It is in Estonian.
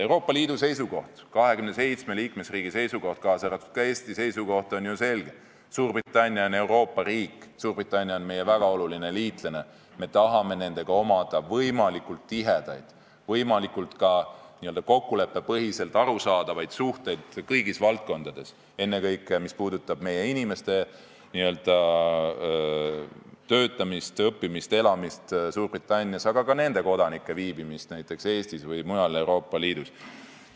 Euroopa Liidu seisukoht, 27 liikmesriigi seisukoht, kaasa arvatud ka Eesti seisukoht on ju selge: Suurbritannia on Euroopa riik, Suurbritannia on meie väga oluline liitlane, me tahame Suurbritanniaga võimalikult tihedaid, võimalikult n-ö kokkuleppepõhiselt arusaadavaid suhteid kõigis valdkondades, ennekõike mis puudutab meie inimeste töötamist, õppimist, elamist Suurbritannias, aga ka nende kodanike viibimist Eestis või mujal Euroopa Liidus.